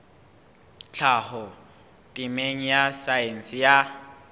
tlhaho temeng ya saense ya